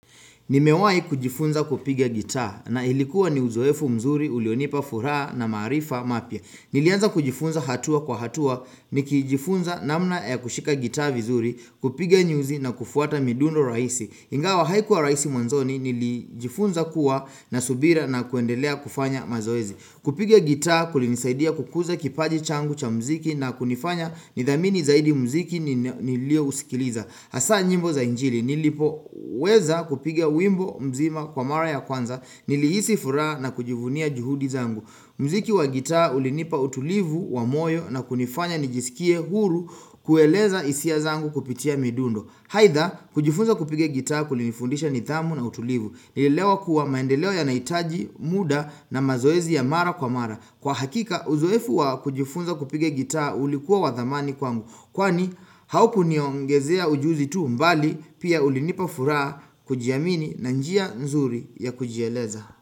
Nimewai kujifunza kupigia gita na ilikuwa ni uzoefu mzuri ulionipa furaha na maarifa mapya. Nilianza kujifunza hatua kwa hatua, nikijifunza namna ya kushika gita vizuri, kupiga nyuzi na kufuata midundo rahisi. Ingawa haikuwa rahisi mwanzoni, nilijifunza kuwa na subira na kuendelea kufanya mazoezi. Kupiga gita kulinisaidia kukuza kipaji changu cha mziki na kunifanya nidhamini zaidi mziki niliousikiliza. Hasa nyimbo za injili nilipoweza kupiga wimbo mzima kwa mara ya kwanza nilihisi furaha na kujivunia juhudi zangu. Mziki wa gitaa ulinipa utulivu wa moyo na kunifanya nijisikie huru kueleza hisia zangu kupitia midundo. Haitha kujifunza kupiga gitaa kulinifundisha nitamu na utulivu. Nilielewa kuwa maendeleo yanahitaji muda na mazoezi ya mara kwa mara. Kwa hakika uzoefu wa kujifunza kupiga gitaa ulikuwa wa dhamani kwangu. Kwani haukuniongezea ujuzi tu mbali pia ulinipa furaha, kujiamini na njia nzuri ya kujieleza.